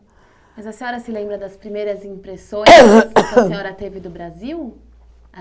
Mas a senhora se lembra das primeiras impressões que a senhora teve do Brasil?